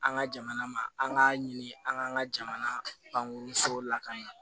An ka jamana ma an k'a ɲini an k'an ka jamana bange so lakana